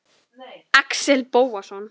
Axel Bóasson